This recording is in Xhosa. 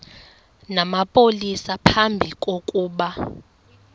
namapolisa phambi kokuba